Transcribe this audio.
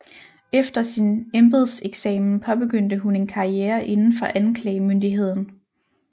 Efter sin embedseksamen påbegyndte hun en karriere inden for anklagemyndigheden